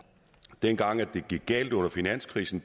dengang det gik galt under finanskrisen